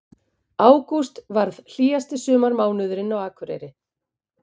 Ágúst varð hlýjasti sumarmánuðurinn á Akureyri